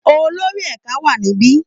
Olórí ẹ̀ka wà níbi